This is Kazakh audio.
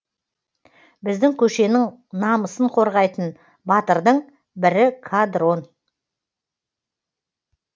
біздің көшенің намысын қорғайтын батырдың бірі қадрон